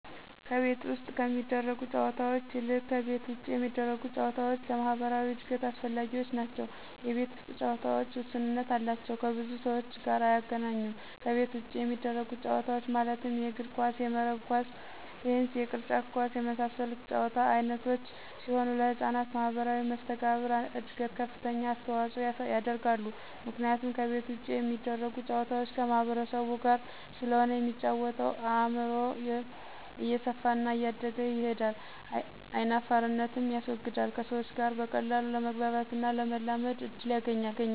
ከቤት ውስጥ ከሚደረጉ ጨዎታዎች ይልቅ ከቤት ውጭ የሚደረጉ ጨዎታዎች ለማህበራዊ እድገት አስፈላጊዎች ናቸው የቤት ውስጥ ጨዎታዎች ውስንነት አላቸው ከብዙ ሰዎች ጋር አያገናኙም ከቤት ውጭ የሚደረጉት ጨዎታዎች ማለትም የእግር ኳስ :የመረብ ኳስ :ቴንስ የቅርጫት ኳስ የመሳሰሉት የጨዎታ አይነቶች ሲሆኑ ለህጻናት ማህበራዊ መሰተጋብር እድገት ከፍተኛ አስተዋጽኦ ያደርጋሉ ምክንያቱም ከቤት ውጭ የሚደረጉ ጨዋታዎች ከማህበረሰቡ ጋር ስለሆነ የሚጫወተው አእምሮው እየሰፋና እያደገ ይሄዳል አይናፋርነትንም ያስወግዳል ከሰዎች ጋር በቀላሉ ለመግባባትና ለመላመድ እድል ያገኛል።